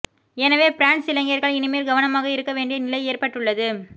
எனவே பிரான்ஸ் இளைஞர்கள் இனிமேல் கவனமாக இருக்க வேண்டிய நிலை ஏற்பட்டுள்ளது